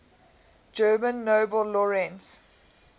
german nobel laureates